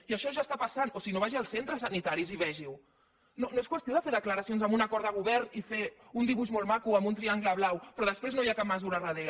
i això ja està passant o si no vagi als centres sanitaris i vegiho no és qüestió de fer declaracions amb un acord de govern i fer un dibuix molt maco amb un triangle blau però després no hi ha cap mesura al darrere